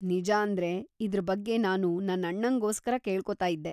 ನಿಜಾಂದ್ರೆ, ಇದ್ರ ಬಗ್ಗೆ ನಾನು ನನ್ನಣ್ಣಂಗೋಸ್ಕರ ಕೇಳ್ಕೊತಾ ಇದ್ದೆ.